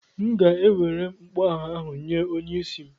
M ga-ewere mgboagha ahụ nye onye isi m.